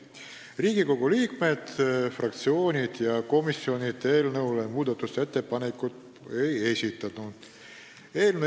Riigikogu liikmed, fraktsioonid ega komisjonid eelnõu kohta muudatusettepanekuid ei esitanud.